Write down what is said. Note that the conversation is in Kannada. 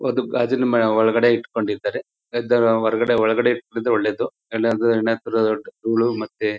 ಅದು ಗಾಜಿನ ಮನೆ ಒಳಗೆ ಇಟ್ಟುಕೊಂಡಿದ್ದಾರೆ ಹೊರಗಡೆ ಒಳಗಡೆ ಇಟ್ಕೊಂಡಿರೋದು ಒಳ್ಳೇದು ಇಲ್ಲ ಅಂದ್ರೆ ಮತ್ತೆ --